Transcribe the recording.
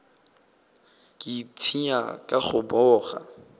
ke ipshina ka go boga